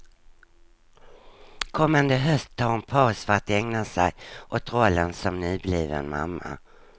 Kommande höst tar hon paus för att ägna sig åt rollen som nybliven mamma.